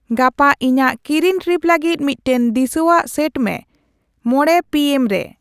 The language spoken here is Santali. ᱜᱟᱯᱟ ᱤᱧᱟᱹᱜ ᱠᱤᱨᱤᱧ ᱴᱨᱤᱯ ᱞᱟᱹᱜᱤᱫ ᱢᱤᱫᱴᱟᱝ ᱫᱤᱥᱟᱹᱣᱟᱜ ᱥᱮᱴ ᱢᱮ ᱢᱚᱬᱮ ᱯᱤ ᱮᱢ ᱨᱮ